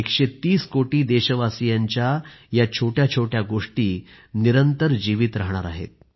130 कोटी देशवासियांच्या या छोट्याछोट्या गोष्टी निरंतर जीवित राहणार आहेत